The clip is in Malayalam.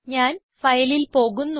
ഞാൻ Fileൽ പോകുന്നു